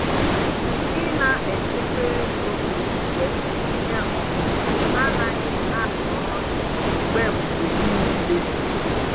Ị na-echekwa ego mgbe ihe ọkụkụ anaghị arịa ọrịa mgbe mgbe niile.